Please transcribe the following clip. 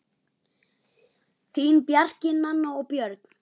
Þín, Bjarki, Nanna og Björn.